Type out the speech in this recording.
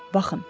Baxın.